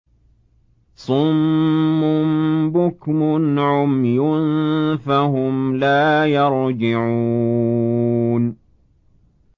صُمٌّ بُكْمٌ عُمْيٌ فَهُمْ لَا يَرْجِعُونَ